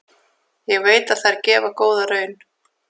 Ég veit að þær gefa góða raun.